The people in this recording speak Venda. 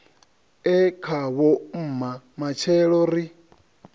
e khavho mma matshelo ri